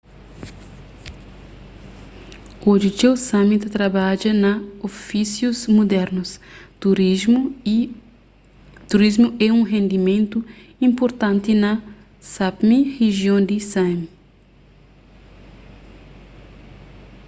oji txeu sámi ta trabadja na ofísius mudernus turismu é un rendimentu inpurtanti na sápmi rijion di sámi